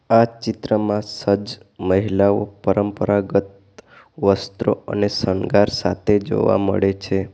આ ચિત્રમાં સજ્જ મહિલાઓ પરંપરાગત વસ્ત્રો અને શણગાર સાથે જોવા મળે છે.